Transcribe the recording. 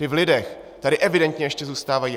Ty v lidech tady evidentně ještě zůstávají.